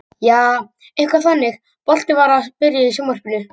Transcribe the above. Jaa, eitthvað þannig, boltinn var að byrja í sjónvarpinu og.